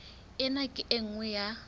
ena ke e nngwe ya